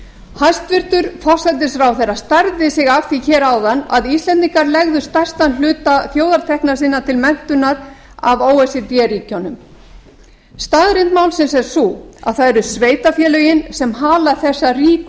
hæstvirtur forsætisráðherra stærði sig af því hér áðan að íslendingar legðu stærstan hluta þjóðartekna sinna til menntunar af o e c d ríkjunum staðreynd málsins er sú að það eru sveitarfélögin sem hala þessa ríku